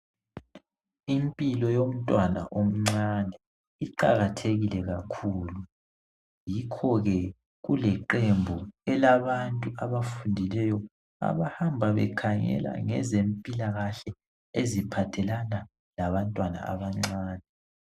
Impilo yomntwana omncane iqakathekile kakhulu yikho ke kuleqembu elabantu abafundileyo abahamba bekhangela ngezempilakahle eziphathelana labantwana abancane.